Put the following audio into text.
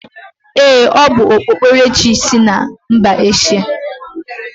Ee, o bu okpukperechi sI mba Eshia.